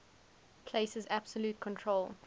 places absolute control